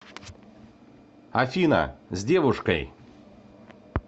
афина с девушкой